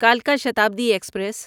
کلکا Shatabdi express